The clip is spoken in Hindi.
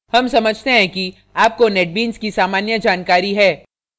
हम समझते हैं कि आपको netbeans की सामान्य जानकारी है